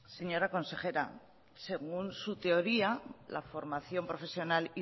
señora consejera según su teoría la formación profesional